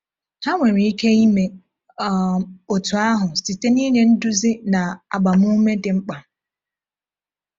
Ha nwere ike ime um otú ahụ site n’inye nduzi na agbamume dị mkpa.